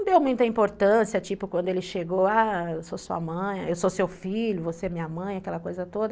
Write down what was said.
Não deu muita importância, tipo, quando ele chegou, ah, eu sou sua mãe, eu sou seu filho, você é minha mãe, aquela coisa toda.